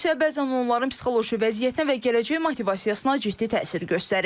Bu isə bəzən onların psixoloji vəziyyətinə və gələcək motivasiyasına ciddi təsir göstərir.